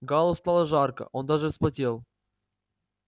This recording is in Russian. гаалу стало жарко он даже вспотел